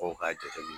Fɔ k'a jateminɛ